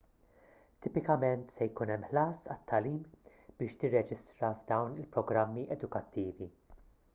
tipikament se jkun hemm ħlas għat-tagħlim biex tirreġistra f'dawn il-programmi edukattivi